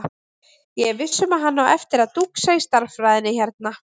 Ég er viss um að hann á eftir að dúxa í stærðfræðinni hérna.